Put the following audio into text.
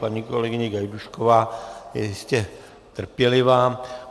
Paní kolegyně Gajdůšková je jistě trpělivá.